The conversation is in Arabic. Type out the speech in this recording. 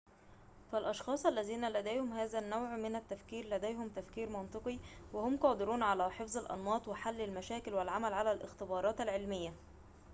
فالأشخاص الذين لديهم هذا النوع من التفكير لديهم تفكير منطقي وهم قادرون على حفظ الأنماط وحل المشاكل والعمل على الاختبارات العلمية